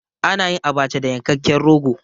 A nayin Abacha da yankekken rogo